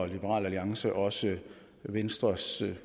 liberal alliance også venstres